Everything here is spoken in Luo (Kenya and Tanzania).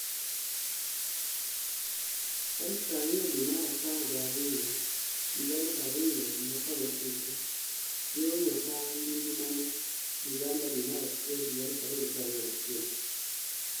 20 Due mar Apar ga riyo 2019 Yori 'otang' gi ngimane' Uganda due mar Achiel 2021